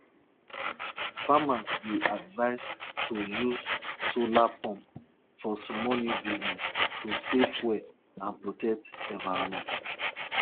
the way them take respect her goats last month them no fit give the same respect to the brother of the king.